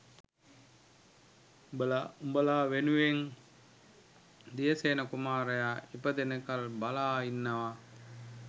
උඹල උඹල වෙනුවෙන් දියසේන කුමාරයා ඉපදෙනකල් බලා ඉන්නවා